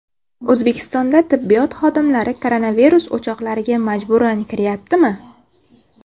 O‘zbekistonda tibbiyot xodimlari koronavirus o‘choqlariga majburan kiryaptimi?